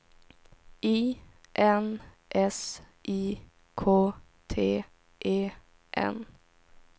I N S I K T E N